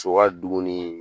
Co ka dumuni